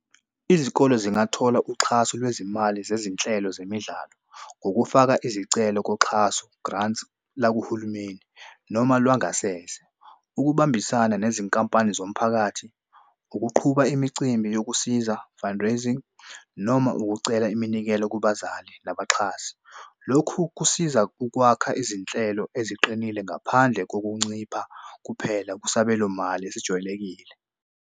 Izikole zingathola uxhaso lwezimali zezinhlelo zemidlalo ngokufaka izicelo koxhaso grants lakuhulumeni noma lwangasese. Ukubambisana nezinkampani zomphakathi ukuqhuba imicimbi yokusiza fundraising noma ukucela iminikelo kubazali nabaxhasi. Lokhu kusiza ukwakha izinhlelo eziqinile ngaphandle kokuncipha kuphela kusabelo mali esijwayelekile